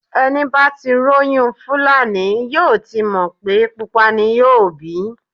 Ẹni bá tí róyún Fúlàní yóò ti mọ̀ pé pupa ni yóò bí.